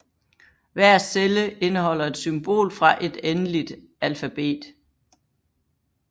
Hver celle indeholder et symbol fra et endeligt alfabet